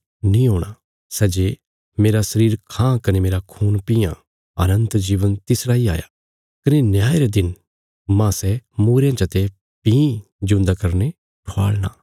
सै जे मेरा शरीर खां कने मेरा खून पीआं अनन्त जीवन तिसरा इ हाया कने न्याय रे दिन मांह सै मूईरयां चते भीं जिऊंदा करीने ठवाल़णा